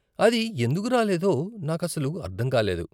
అది ఎందుకు రాలేదో నాకు అసలు అర్ధం కాలేదు.